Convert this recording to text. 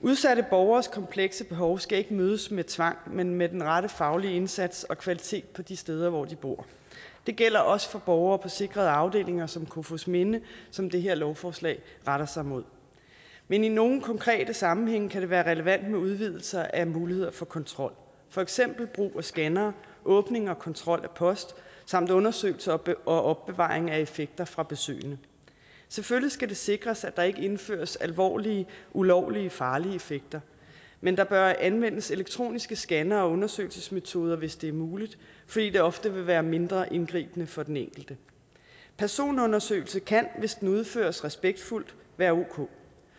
udsatte borgeres komplekse behov skal ikke mødes med tvang men med den rette faglige indsats og kvalitet på de steder hvor de bor det gælder også for borgere på sikrede afdelinger som kofoedsminde som det her lovforslag retter sig imod men i nogle konkrete sammenhænge kan det være relevant med en udvidelse af mulighederne for kontrol for eksempel brug af scannere åbning og kontrol af post og undersøgelse og opbevaring af effekter fra besøgende selvfølgelig skal det sikres at der ikke indføres alvorlige ulovlige og farlige effekter men der bør anvendes elektroniske scannere og undersøgelsesmetoder hvis det er muligt fordi det ofte vil være mindre indgribende for den enkelte personundersøgelse kan hvis den udføres respektfuldt være ok